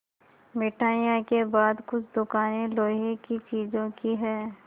मिठाइयों के बाद कुछ दुकानें लोहे की चीज़ों की हैं